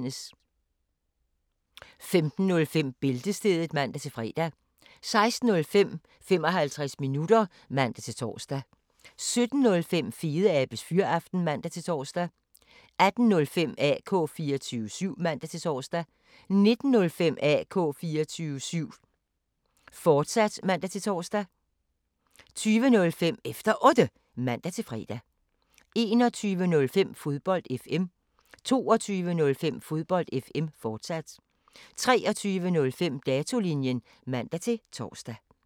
15:05: Bæltestedet (man-fre) 16:05: 55 minutter (man-tor) 17:05: Fedeabes Fyraften (man-tor) 18:05: AK 24syv (man-tor) 19:05: AK 24syv, fortsat (man-tor) 20:05: Efter Otte (man-fre) 21:05: Fodbold FM 22:05: Fodbold FM, fortsat 23:05: Datolinjen (man-tor)